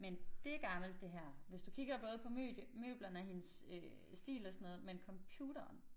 Men det gammelt det her hvis du kigger både på møblerne og hendes øh stil og sådan noget men computeren